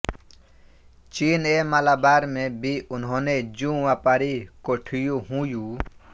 चीन ऐं मलाबार में बि उन्हंनि जूं वापारी कोठियूं हुयूं